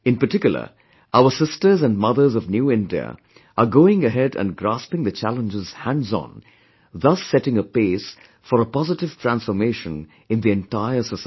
In particular, our sisters and mothers of New India are going ahead and grasping the challenges hands on thus setting a pace for a positive transformation in the entire society